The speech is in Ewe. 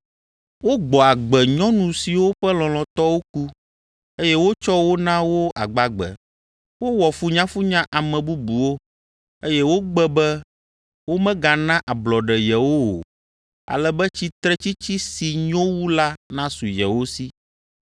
Wogbɔ agbe nyɔnu siwo ƒe lɔlɔ̃tɔwo ku, eye wotsɔ wo na wo agbagbe. Wowɔ funyafunya ame bubuwo, eye wogbe be womegana ablɔɖe yewo o, ale be tsitretsitsi si nyo wu la nasu yewo si.